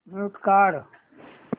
mute काढ